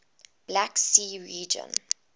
black sea region